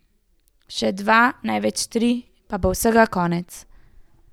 Še dva, največ tri dni, pa bo vsega konec.